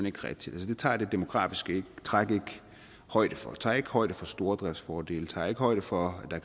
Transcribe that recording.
ikke rigtigt det tager det demografiske træk ikke højde for det tager ikke højde for stordriftsfordele tager ikke højde for